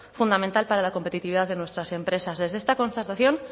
fundamental para la competitividad de nuestras empresas desde esta constatación